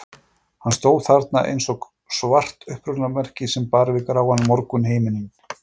Hann stóð þarna eins og svart upphrópunarmerki sem bar við gráan morgunhimininn.